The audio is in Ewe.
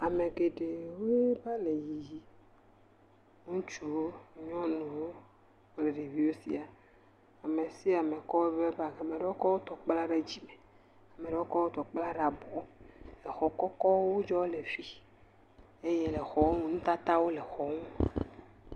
Ame geɖewo wova le yiyim. Ŋutsuwo, nyɔnuwo kple ɖeviwo sia. Ame sia ame kɔ eƒe bagi. Ame aɖewo kɔ wotɔ kpla ɖe dzi me ame aɖewo kɔ wotɔ kpla ɖe abɔ. Exɔ kɔkɔwo wodzɔ le fii eye le xɔwo me nutatawo le xɔ nu.